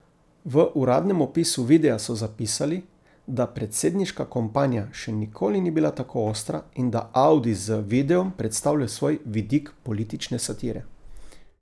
V uradnem opisu videa so zapisali, da predsedniška kampanja še nikoli ni bila tako ostra in da Audi z videom predstavlja svoj vidik politične satire.